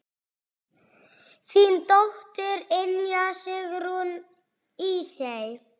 Þín dóttir, Ynja Sigrún Ísey.